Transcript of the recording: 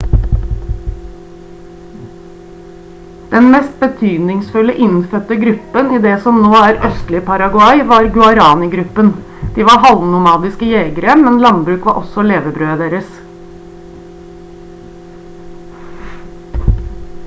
den mest betydningsfulle innfødte gruppen i det som nå er det østlige paraguay var guaraní-gruppen de var halvnomadiske jegere men landbruk var også levebrødet deres